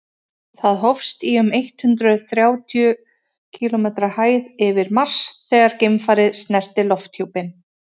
það hófst í um eitt hundruð þrjátíu kílómetri hæð yfir mars þegar geimfarið snerti lofthjúpinn